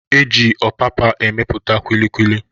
E ji ọpapa emepụta kulikuli.